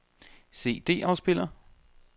CD-afspiller